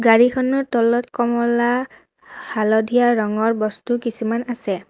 গাড়ীখনৰ তলত কমলা হালধীয়া ৰঙৰ বস্তু কিছুমান আছে।